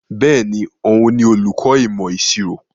Bẹ́ẹ̀ni, òun ni olùkọ ìmọ̀ ìṣirò.